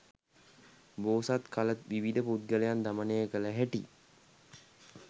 බෝසත් කල විවිධ පුද්ගලයන් දමනය කළ හැටි